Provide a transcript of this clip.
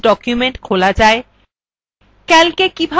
এবং একটি উপস্থিত document খোলা যায়